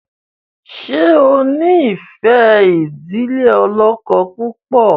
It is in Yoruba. ṣe o nfe idile olókó púpọ.?